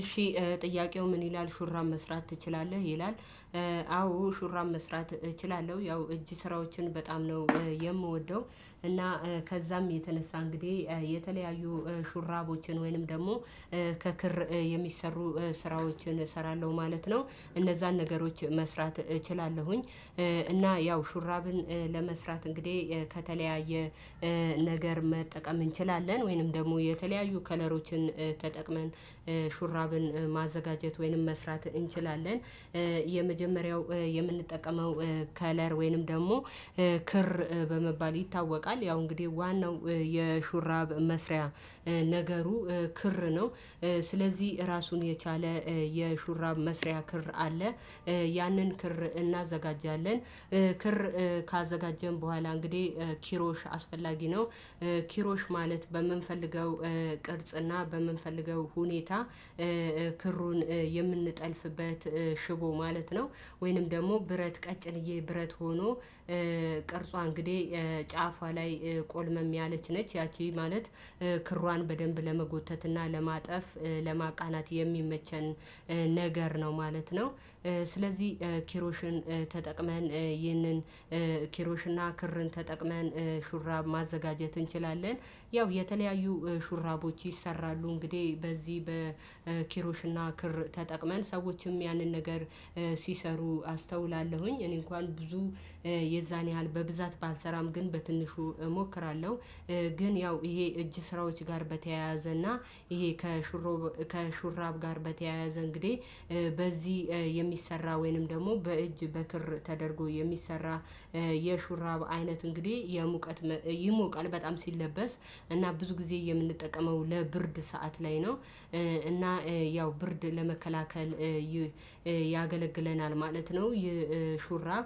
እሺ ጥያቄው ምን ይላል ሹራብ መስራት ትችላለህ ይላል? አዎ ሹራብ መስራት እችላለሁ ያው እጅ ስራዎችን በጣም ነው የምወደው እና ከዛም የተነሳ እንግዲህ የተለያዩ ሹራቦችን ወይንም ደግሞ ከክር የሚሰሩ ስራዎችን እሰራለሁ ማለት ነው። እነዛን ነገሮች መስራት እችላለሁኝ። እና ያው ሹራብን ለመስራት እንግዲህ ከተለያየ ነገር መጠቀም እንችላለን ወይንም ደግሞ የተለያዩ ከለሮችን ተጠቅመን ሹራብን ማዘጋጀት ወይንም መስራት እንችላለን። የመጀመሪያው የምንጠቀመው ከለር ወይንም ደግሞ ክር በመባል ይታወቃል ያው እንግዲህ ዋናው የሹራብ መስሪያ ነገሩ ክር ነው። ስለዚህ ራሱን የቻለ የሹራብ መስሪያ ክር አለ ያንን ክር እናዘጋጃለን። ክር ካዘጋጀን በኋላ እንግዲህ ኪሮሽ አስፈላጊ ነው። ኪሮሽ ማለት በምንፈልገው ቅርጽና በምንፈልገው ሁኔታ ክሩን የምንጠልፍበት ሽቦ ማለት ነው። ወይንም ደግሞ ብረት ቀጭንዬ ብረት ሆኖ ቅርጿ እንግዲህ ጫፏ ላይ ቆልመም ያለች ነች። ያቺ ማለት ክሯን በደንብ ለመጎተት እና ለማጠፍ ለማቃናት የሚመቸን ነገር ነው ማለት ነው። ስለዚህ ኪሮሽን ተጠቅመን ይህንን ኪሮሽና ክርን ተጠቅመን ሹራብ ማዘጋጀት እንችላለን። ያው የተለያዩ ሹራቦች ይሰራሉ እንግዲህ በዚህ በኪሮሽና ክር ተጠቅመን ሰዎችም ያንን ነገር ሲሰሩ አስተውላለሁኝ እኔ እንኳን ብዙ የዛን ያህል በብዛት ባልሰራም ግን በትንሹ እሞክራለሁ። ግን ያው ይሄ እጅ ስራዎች ጋር በተያያዘና እና ይሄ ከሹራብ ጋር በተያያዘ እንግዲህ በዚህ የሚሰራ ወይንም ደግሞ በእጅ በክር ተደርጎ የሚሰራ የሹራብ አይነት እንግዲህ የሙቀት ይሞቃል በጣም ሲለበስ እና ብዙ ጊዜ የምንጠቀመው ለብርድ ሰዓት ላይ ነው። እና ያው ብርድ ለመከላከል ያገለግለናል ማለት ነው። ይህ ሹራብ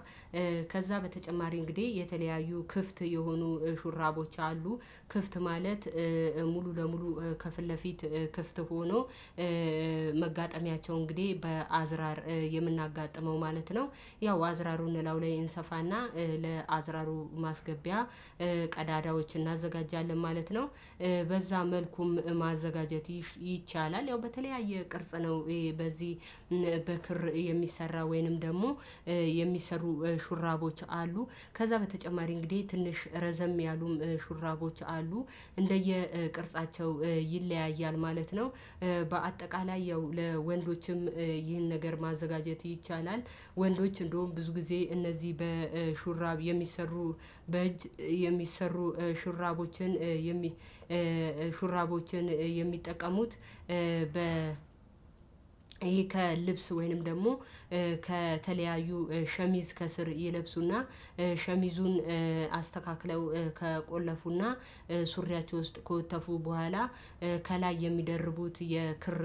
ከዛ በተጨማሪ እንግዲህ የተለያዩ ክፍት የሆኑ ሹራቦች አሉ። ክፍት ማለት ሙሉ ለሙሉ ከፊት ለፊት ክፍት ሆኖ መጋጠሚያቸው እንግዲህ በአዝራር የምናጋጥመው ማለት ነው። ያው አዝራሩን እላዩ ላይ እንሰፋና ለአዝራሩ ማስገቢያ ቀዳዳዎች እናዘጋጃለን ማለት ነው። በዛ መልኩም ማዘጋጀት ይቻላል ያው በተለያየ ቅርጽ ነው። በዚህ በክር የሚሰራ ወይንም ደግሞ የሚሰሩ ሹራቦች አሉ። ከዛ በተጨማሪ እንግዲህ ትንሽ ረዘም ያሉም ሹራቦች አሉ። እንደየ ቅርጻቸው ይለያያል ማለት ነው። በአጠቃላይ ያው ለወንዶችም ይህን ነገር ማዘጋጀት ይቻላል። ወንዶች እንደውም ብዙ ጊዜ እነዚህ በሹራብ የሚሰሩ በእጅ የሚሰሩ ሹራቦችን የሚ ሹራቦችን የሚጠቀሙት በ ይሄ ከልብስ ወይንም ደግሞ ከተለያዩ ሸሚዝ ከስር ይለብሱና ሸሚዙን አስተካክለው ከቆለፉና ሱሪያቸው ውስጥ ከወተፉ በኋላ ከላይ የሚደርቡት የክር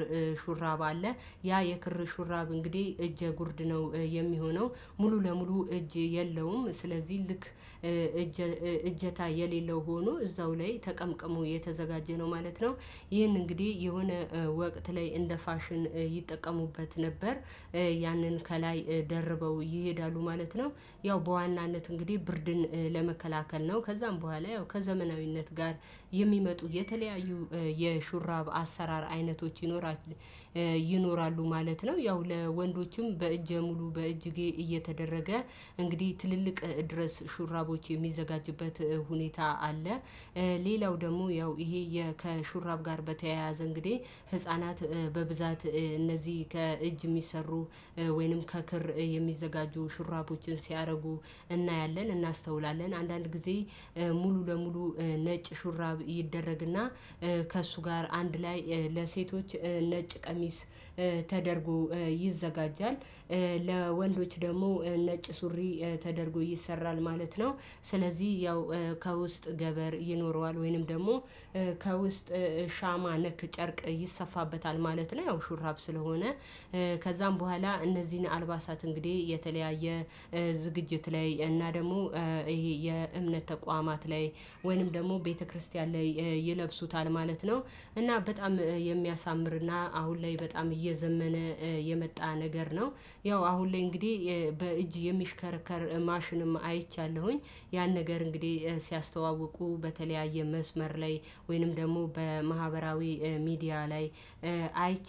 ሹራብ አለ። ያ የክር ሹራብ እንግዲህ እጀጉርድ ነው የሚሆነው ሙሉ ለሙሉ እጅ የለውም ስለዚህ ልክ እጀታ የሌለው ሆኖ እዛው ላይ ተቀምቅሞ የተዘጋጀ ነው ማለት ነው። ይህን እንግዲህ የሆነ ወቅት ላይ እንደ ፋሽን ይጠቀሙበት ነበር። ያንን ከላይ ደርበው ይሄዳሉ ማለት ነው። ያው በዋናነት እንግዲህ ብርድን ለመከላከል ነው ከዛም በኋላ ያው ከዘመናዊነት ጋር የሚመጡ የተለያዩ የሹራብ አሰራር አይነቶች ይኖራሉ። ይኖራሉ ማለት ነው ያው ለወንዶችም በእጅ ሙሉ በእጅጌ እየተደረገ እንግዲህ ትልልቅ ድረስ ሹራቦች የሚዘጋጅበት ሁኔታ አለ። ሌላው ደግሞ ያው ይሄ ከሹራብ ጋር በተያያዘ እንግዲህ ህፃናት በብዛት እነዚህ ከእጅ የሚሰሩ ወይንም ከክር የሚዘጋጁ ሹራቦችን ሲያደርጉ እናያለን እናስተውላለን አንዳንድ ጊዜ ሙሉ ለሙሉ ነጭ ሹራብ ይደረግና ከእሱ ጋር አንድ ላይ ለሴቶች ነጭ ቀሚስ ተደርጎ ይዘጋጃል። ለወንዶች ደግሞ ነጭ ሱሪ ተደርጎ ይሰራል ማለት ነው። ስለዚህ ያው ከውስጥ ገበር ይኖረዋል ወይንም ደግሞ ከውስጥ ሻማ ነክ ጨርቅ ይሰፋበታል ማለት ነው። ያው ሹራብ ስለሆነ ከዛም በኋላ እነዚህን አልባሳት እንግዲህ የተለያየ ዝግጅት ላይ እና ደግሞ ይሄ የእምነት ተቋማት ላይ ወይንም ደግሞ ቤተክርስቲያን ላይ ይለብሱታል ማለት ነው። እና በጣም የሚያሳምርና አሁን ላይ በጣም እየዘመነ የመጣ ነገር ነው። ያው አሁን ላይ እንግዲህ በእጅ የሚሽከረከር ማሽንም አይቻለሁኝ ያን ነገር እንግዲህ ሲያስተዋውቁ በተለያየ መስመር ላይ ወይንም ደግሞ በማህበራዊ ሚዲያ ላይ አይቻለሁ